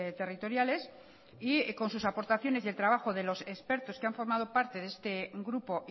territoriales y con sus aportaciones y el trabajo de los expertos que han formado parte de este grupo